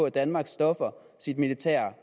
at danmark stopper sit militære